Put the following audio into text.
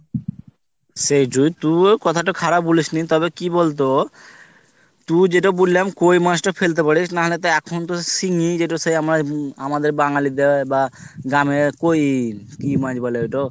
সেই যো তুইও কথাতো খারাপ বলিস নি তবে কি বলতো তুই যেটা বললাম কই মাছ টা ফেলতে পারিস না হলেতো এখনতো সিঙ্গি যেটা সে আমরা হম আমাদের বাঙালিদের বা গ্রামে কই কি মাছ বলে ওইতো